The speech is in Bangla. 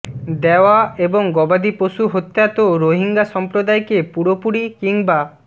দেওয়া এবং গবাদিপশু হত্যা তো রোহিঙ্গা সম্প্রদায়কে পুরোপুরি কিংবা